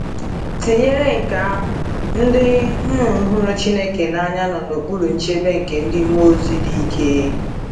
Tinyere nke ahụ, ndị um hụrụ Chineke n’anya nọ n’okpuru nchebe nke ndị mmụọ ozi dị ike.